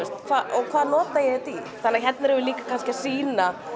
þetta hvað nota ég þetta í þannig að hérna erum við líka kannski að sýna